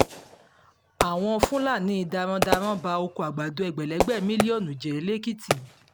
àwọn fúlàní darandaran ba oko àgbàdo ẹgbẹ̀lẹ́gbẹ́ mílíọ̀nù jẹ́ lẹ́kìtì